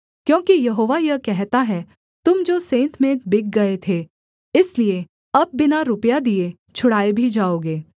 क्योंकि यहोवा यह कहता है तुम जो सेंतमेंत बिक गए थे इसलिए अब बिना रुपया दिए छुड़ाए भी जाओगे